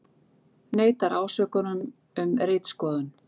Neitar ásökunum um ritskoðun